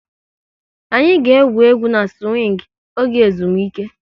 Anyị ga egwú egwu na-siwing oge ezumike